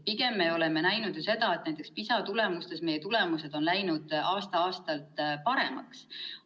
Pigem me oleme näinud seda, et näiteks meie õpilaste PISA testide tulemused on läinud aasta-aastalt paremaks.